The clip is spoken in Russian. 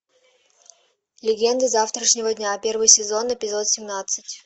легенды завтрашнего дня первый сезон эпизод семнадцать